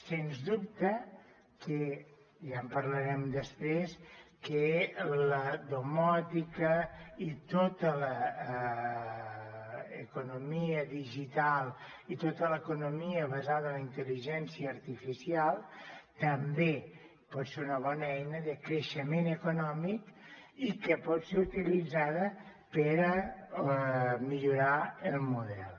sens dubte i ja en parlarem després que la domòtica i tota l’economia digital i tota l’economia basada en la intel·ligència artificial també pot ser una bona eina de creixement econòmic i que pot ser utilitzada per a millorar el model